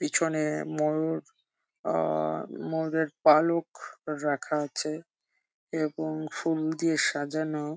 পিছনে ময়ুর আ ময়ূরের পালক রাখা আছে এবং ফুল দিয়ে সাজানো।